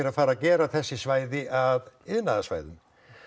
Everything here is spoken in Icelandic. að fara að gera þessi svæði að iðnaðarsvæðum